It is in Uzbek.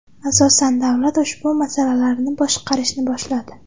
Asosan davlat ushbu masalalarni boshqarishni boshladi.